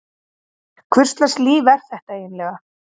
Hvurslags líf er þetta eiginlega?